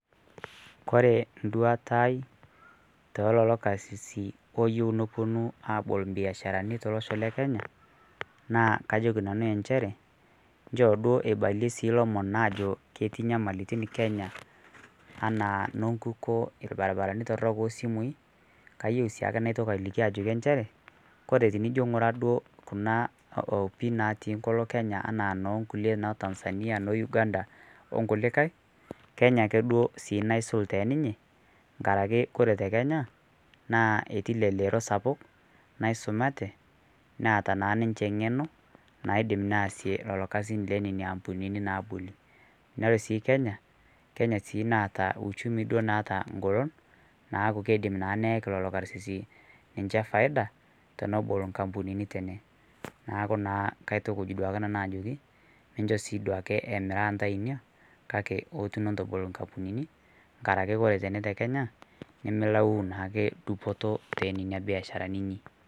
Kore nduata aai teleloo karsisii oyeu noponuu abol mbiasharanii teloshoo lekenya naa kajokii nanuu ensheree nchoo duo eibalie sii lomon ajoo ketii nyamalitin Kenya ana nonkukoo elbarbaranii torok oosimui kayeu siake naitokii alikii ajoki enshere kore tinijoo ng'uraa duo kuna opii natii nkoloo Kenya anaa nonkulie onetanzania noo uganda onkulikai Kenya akee duo sii naisul teninyee ng'arakee kore te Kenya naa etii leleroo sapuk naisumatee naata naa ninshe ng'eno naiddim naasie iloo kazin lonenia ampuninii nabolii naa ore sii Kenya, Kenya sii naata uchumii duo naata ng'olon naaku keidim naa neyakii leloo karsisii ninshee faida tenebol nkampuninii tenee naaku naa kaitukuj duake nanuu ajokii minsho sii duake emiraa ntai inia kakee ootun intobol nkampunini ng'arakee oree tenee te Kenya nimilau naake dupotoo tenenia biasharanii inii.